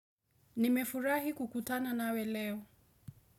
Nimefurahi kukutana nawe leo.